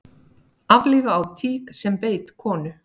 Aflífa á tík sem beit konu